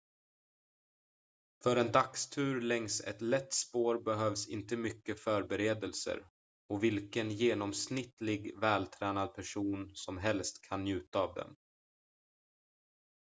för en dagstur längs ett lätt spår behövs inte mycket förberedelser och vilken genomsnittligt vältränad person som helst kan njuta av dem